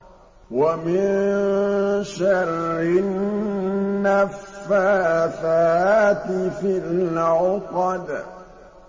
وَمِن شَرِّ النَّفَّاثَاتِ فِي الْعُقَدِ